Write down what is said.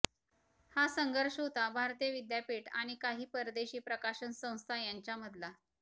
हा संघर्ष होता भारतीय विद्यापीठ आणि काही परदेशी प्रकाशन संस्था यांच्यामधला